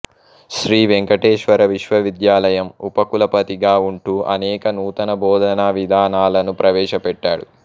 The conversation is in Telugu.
శ్రీ వెంకటేశ్వర విశ్వవిద్యాలయం ఉప కులపతిగా ఉంటూ అనేక నూతన బోధనా విధానాలను ప్రవేశపెట్టాడు